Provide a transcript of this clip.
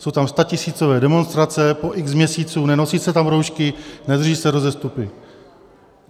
Jsou tam statisícové demonstrace po X měsíců, nenosí se tam roušky, nedrží se rozestupy.